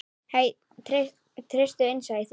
Hæ, treystu innsæi þínu.